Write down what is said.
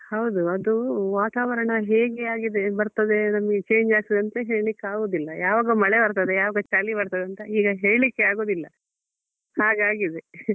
ಹೌದು ಅದು ವಾತಾವರಣ ಹೇಗೆ ಆಗಿದೆ ಬರ್ತದೆ ನಮಗೆ change ಆಗ್ತದೆ ಅಂತ ಹೇಳಿಕ್ಕೆ ಆಗುದಿಲ್ಲ ಯಾವಾಗ ಮಳೆ ಬರ್ತದೆ ಯಾವಾಗ ಚಳಿ ಬರ್ತದೆ ಅಂತ ಈಗ ಹೇಳಿಕ್ಕೆ ಆಗುದಿಲ್ಲ ಹಾಗೆ ಆಗಿದೆ .